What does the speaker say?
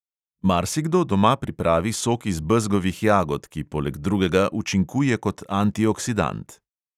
Marsikdo doma pripravi sok iz bezgovih jagod, ki poleg drugega učinkuje kot antioksidant.